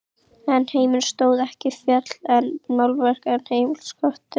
En heimurinn stóð ekki og féll með málverkum og heimilisköttum.